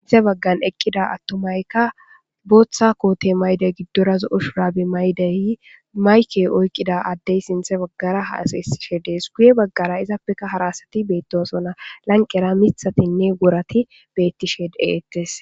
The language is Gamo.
sinthe baggan eqqida attumaykka booththa koote mayde giddora zo'o shuraabe maydeyi mayke oykqida addey sinthe baggara haasysishe dees guye baggara izappeka hara asati beettosona lanqera mithatinne gorati beettishe dee'ettes